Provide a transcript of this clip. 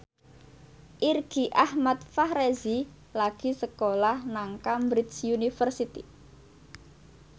Irgi Ahmad Fahrezi lagi sekolah nang Cambridge University